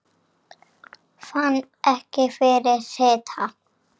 Fann ekki fyrir hita